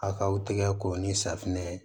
A kaw tigɛ ko ni safunɛ